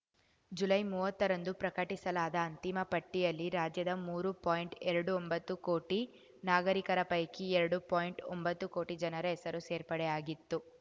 July ಮುವತ್ತರಂದು ಪ್ರಕಟಿಸಲಾದ ಅಂತಿಮ ಪಟ್ಟಿಯಲ್ಲಿ ರಾಜ್ಯದ ಮೂರು ಪಾಯಿಂಟ್ಎರಡು ಒಂಬತ್ತು ಕೋಟಿ ನಾಗರಿಕರ ಪೈಕಿ ಎರಡು ಪಾಯಿಂಟ್ಒಂಬತ್ತು ಕೋಟಿ ಜನರ ಹೆಸರು ಸೇರ್ಪಡೆಯಾಗಿತ್ತು